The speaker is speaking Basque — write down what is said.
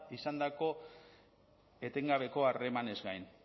izandako etengabeko harremanez gain